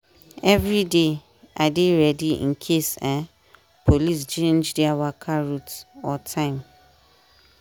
every day i dey ready in case um police change their waka route or time.